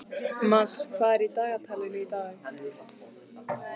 Mars, hvað er í dagatalinu í dag?